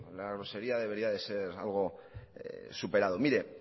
la grosería debería de ser algo superado mire